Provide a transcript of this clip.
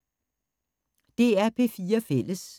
DR P4 Fælles